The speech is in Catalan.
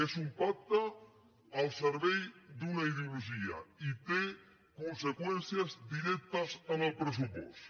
és un pacte al servei d’una ideologia i té conseqüències directes en el pressupost